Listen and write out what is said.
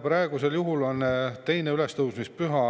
Praegusel juhul 2. ülestõusmispüha